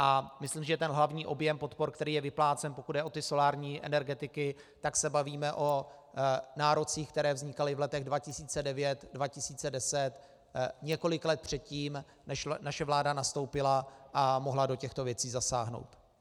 A myslím, že ten hlavní objem podpor, který je vyplácen, pokud jde o ty solární energetiky, tak se bavíme o nárocích, které vznikaly v letech 2009, 2010, několik let předtím, než naše vláda nastoupila a mohla do těchto věcí zasáhnout.